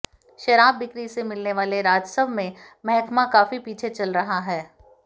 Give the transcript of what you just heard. शराब बिक्री से मिलने वाले राजस्व में महकमा काफी पीछे चल रहा है